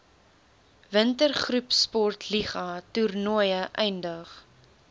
wintergroepsportliga toernooie eindig